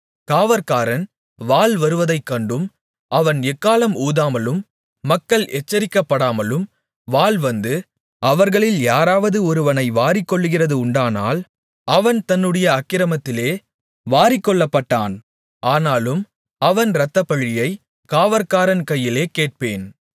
காவற்காரன் வாள் வருவதைக் கண்டும் அவன் எக்காளம் ஊதாமலும் மக்கள் எச்சரிக்கப்படாமலும் வாள் வந்து அவர்களில் யாராவது ஒருவனை வாரிக்கொள்ளுகிறது உண்டானால் அவன் தன்னுடைய அக்கிரமத்திலே வாரிக்கொள்ளப்பட்டான் ஆனாலும் அவன் இரத்தப்பழியைக் காவற்காரன் கையிலே கேட்பேன்